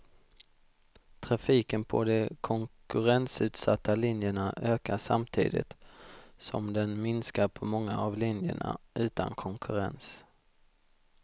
Trafiken på de konkurrensutsatta linjerna ökar samtidigt som den minskar på många av linjerna utan konkurrens.